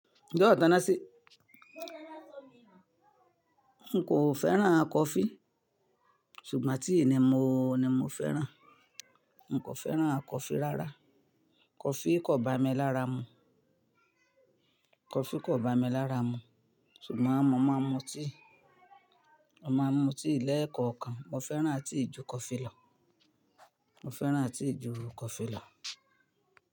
N j'ọ́ Tanasi. N kò fẹ́ràn coffee, ṣùgbọ́n tea ni mo, ni mo fẹ́ràn. N kò fẹ́ràn coffee rára. Coffee kò bá mi lára mú. Coffee kò bá mi lára mú, ṣùgbọ́n mo máa mú tea. Mo máa mú tea lẹ́ẹ̀kọ̀ọ̀kan. Mo fẹ́ràn tea ju coffee lọ. Mo fẹ́ràn tea ju coffee lọ.